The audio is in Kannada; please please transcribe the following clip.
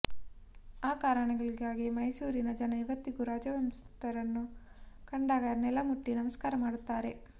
ಆ ಕಾರಣಗಳಿಗಾಗಿ ಮೈಸೂರಿನ ಜನ ಇವತ್ತಿಗೂ ರಾಜವಂಶಸ್ಥರನ್ನು ಕಂಡಾಗ ನೆಲ ಮುಟ್ಟಿ ನಮಸ್ಕಾರ ಮಾಡುತ್ತಾರೆ